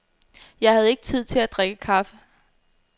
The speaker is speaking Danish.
Jeg havde ikke tid til at drikke kaffe.